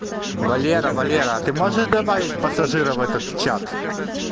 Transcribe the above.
валера валера а ты можешь добавить пассажира в этот чат